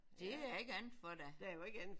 Det er der ikke andet for da